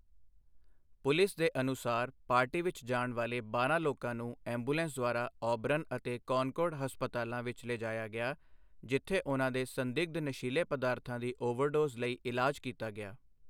Police ਦੇ ਅਨੁਸਾਰ, party ਵਿੱਚ ਜਾਣ ਵਾਲੇ ਬਾਰਾਂ ਲੋਕਾਂ ਨੂੰ ਐਂਬੂਲੈਂਸ ਦੁਆਰਾ ਔਬਰਨ ਅਤੇ ਕੌਨਕੌਰਡ ਹਸਪਤਾਲਾਂ ਵਿੱਚ ਲਿਜਾਇਆ ਗਿਆ ਜਿੱਥੇ ਉਨ੍ਹਾਂ ਦੇ ਸੰਦਿਗਧ ਨਸ਼ੀਲੇ ਪਦਾਰਥਾਂ ਦੀ ਓਵਰਡੋਜ਼ ਲਈ ਇਲਾਜ ਕੀਤਾ ਗਿਆ।